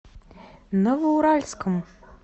новоуральском